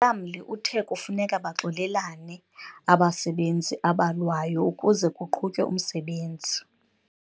Umlamli uthe kufuneka baxolelane abasebenzi abalwayo ukuze kuqhutywe umsebenzi.